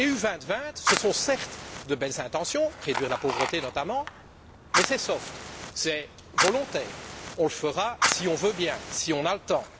L'UE 2020 ce sont, certes, de belles intentions réduire la pauvreté notamment mais c'est soft c'est volontaire, on le fera si on le veut bien, si on a le temps.